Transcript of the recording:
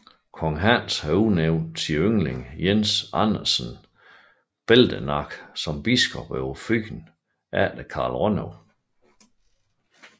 Kong Hans havde udnævnt sin yndling Jens Andersen Beldenak som biskop over Fyn efter Carl Rønnow